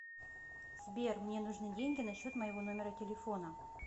сбер мне нужны деньги на счет моего номера телефона